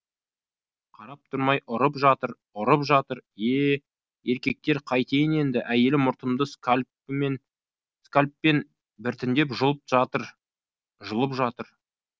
қарап тұрмай ұрып жатыр ұрып жатыр ее еркектер қайтейін енді әйелім мұртымды скальппен біртіндеп жұлып жатыр жұлып жатыр